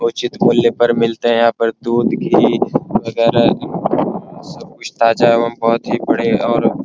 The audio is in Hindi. उचित मूल्य पर मिलते है यहां पर दूध घी वगैरा सब कुछ ताजा एवं बहुत ही बड़े और --